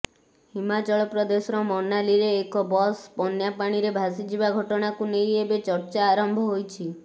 ହିମାଚଳପ୍ରଦେଶର ମନାଲୀରେ ଏକ ବସ୍ ବନ୍ୟା ପାଣିରେ ଭାସିଯିବା ଘଟଣାକୁ ନେଇ ଏବେ ଚର୍ଚ୍ଚା ଆରମ୍ଭ ହୋଇଛି